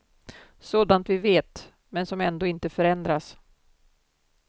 Sådant vi vet, men som ändå inte förändras.